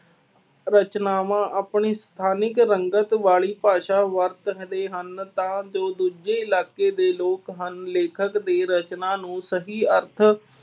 ਰਚਨਾਵਾਂ ਆਪਣੀ ਸਥਾਨਿਕ ਰੰਗਤ ਵਾਲੀ ਭਾਸ਼ਾ ਵਰਤ ਹਟੇ ਹਨ ਤਾਂ ਜੋ ਦੂਜੇ ਇਲਾਕੇ ਦੇ ਲੋਕ ਹਨ, ਲੇਖਕ ਦੀ ਰਚਨਾ ਨੂੰ ਸਹੀ ਅਰਥ